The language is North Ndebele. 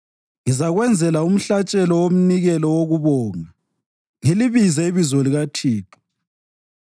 Ngizakwenzela umhlatshelo womnikelo wokubonga ngilibize ibizo likaThixo